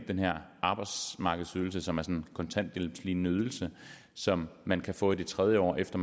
den her arbejdsmarkedsydelse som er sådan en kontanthjælpslignende ydelse som man kan få i det tredje år efter